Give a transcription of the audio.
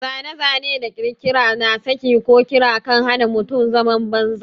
Zane-zane da ƙirkira na saƙi ko ƙira kan hana mutum zaman banza.